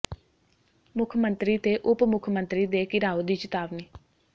ਮੁੱਖ ਮੰਤਰੀ ਤੇ ਉਪ ਮੁੱਖ ਮੰਤਰੀ ਦੇ ਘਿਰਾਓ ਦੀ ਚਿਤਾਵਨੀ